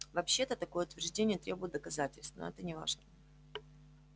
вообще-то такое утверждение требует доказательств но это не важно